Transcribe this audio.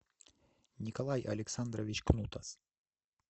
николай александрович кнутас